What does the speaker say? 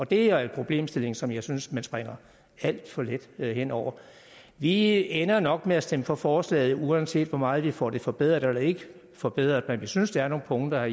det er en problemstilling som jeg synes man springer alt for let hen over vi ender nok med at stemme for forslaget uanset hvor meget vi får det forbedret eller ikke forbedret men vi synes der er nogle punkter